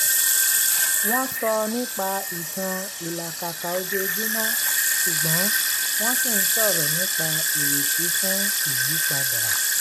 wọ́n sọ nípa ìtàn ìlàkàkà ojoojúmọ́ ṣùgbọ́n wọ́n ṣì ń sọ̀rọ̀ nípa ìrètí fún ìyípadà